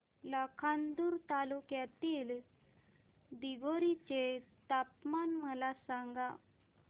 लाखांदूर तालुक्यातील दिघोरी चे तापमान मला सांगा